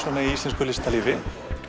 í íslensku listalífi